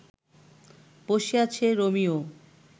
বসে আছে রোমিও